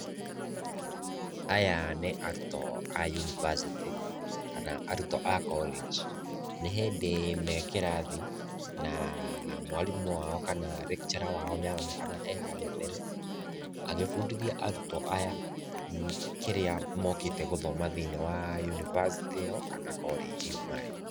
Aya nĩ arutwo a university kana arutwo a college. Nĩ hĩndĩ me kĩrathi na mwarimũ wao kana lecturer wao nĩ aronekana e harĩa mbere, agĩbundithia arutwo aya kĩrĩa mokĩte gũthoma thĩiniĩ wa university ĩo kana college ĩo marĩ.